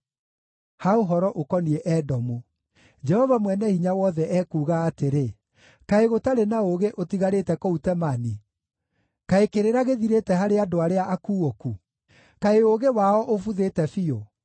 Ha ũhoro ũkoniĩ Edomu: Jehova Mwene-Hinya-Wothe ekuuga atĩrĩ: “Kaĩ gũtarĩ na ũũgĩ ũtigarĩte kũu Temani? Kaĩ kĩrĩra gĩthirĩte harĩ andũ arĩa akuũku? Kaĩ ũũgĩ wao ũbuthĩte biũ?